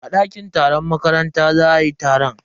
A dakin taron makaranta za ayi taron.